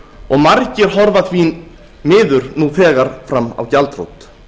og margir horfa því miður nú þegar fram á gjaldþrot